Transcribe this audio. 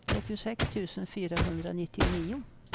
trettiosex tusen fyrahundranittionio